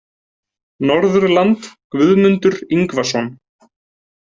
Norðurland Guðmundur Ingvason